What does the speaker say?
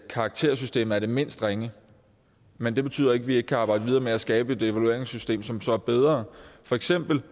karaktersystemet er det mindst ringe men det betyder ikke at vi ikke kan arbejde videre med at skabe et evalueringssystem som så er bedre for eksempel